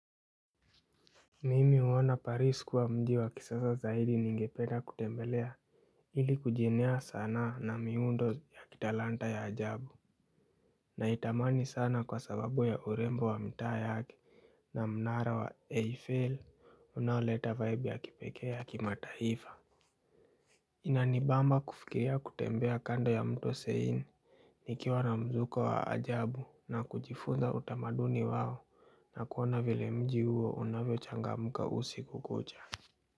Mimi huona paris kuwa mji wa kisasa zaidi ningependa kutembelea ili kujenea sanaa na miundo ya kitalanta ya ajabu. Naitamani sana kwa sababu ya urembo wa mtaa yake na mnara wa AFL unauleta vibe ya kipekee kimataifa. Inanibamba kufikiria kutembea kando ya mto seini. Nikiwa na mzuko wa ajabu na kujifunza utamaduni wao na kuona vile mji uo unavyo changamka usiku kucha.